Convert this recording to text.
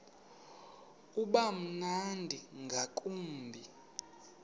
uba mnandi ngakumbi